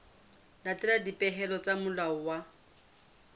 latela dipehelo tsa molao wa